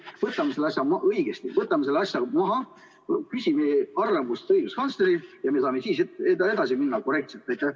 Võtame selle asja maha, küsime arvamust õiguskantslerilt ja siis me saame minna korrektselt edasi.